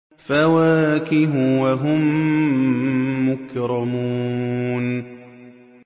فَوَاكِهُ ۖ وَهُم مُّكْرَمُونَ